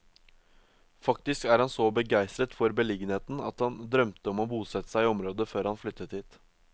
Faktisk er han så begeistret for beliggenheten at han drømte om å bosette seg i området før han flyttet hit.